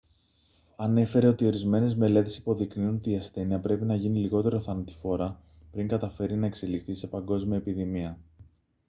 ανέφερε ότι ορισμένες μελέτες υποδεικνύουν ότι η ασθένεια πρέπει να γίνει λιγότερο θανατηφόρα πριν καταφέρει να εξελιχθεί σε παγκόσμια επιδημία